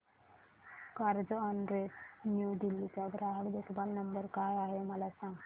Carzonrent New Delhi चा ग्राहक देखभाल नंबर काय आहे मला सांग